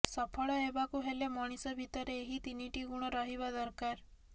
ସଫଳ ହେବାକୁ ହେଲେ ମଣିଷ ଭିତରେ ଏହି ତିନିଟି ଗୁଣ ରହିବା ଦରକାର